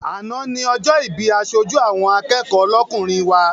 Àná ni ọjọ́ ìbí aṣojú àwọn akẹ́kọ̀ọ́ lọ́kùnrin wa.